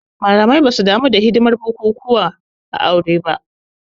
Malamai basu damu da hidimar bukukuwan ba aure